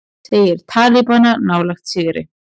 Segir talibana nálægt sigri